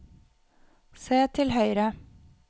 se til høyre